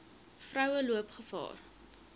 vroue loop gevaar